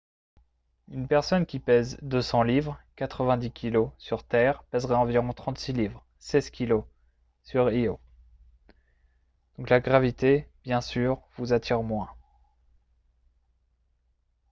une personne qui pèse 200 livres 90kg sur terre pèserait environ 36 livres 16kg sur io. donc la gravité bien sûr vous attire moins